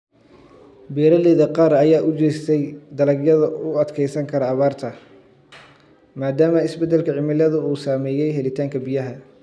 Beeralayda qaar ayaa u jeestay dalagyada u adkeysan kara abaarta maadaama isbeddelka cimiladu uu saameeyay helitaanka biyaha.